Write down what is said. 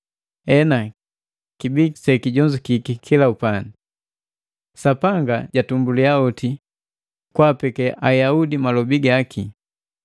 Hena, Kibii sekijonzukeka kila upandi. Sapanga jatumbulia oti kwaapeke Ayaudi malobi gaki.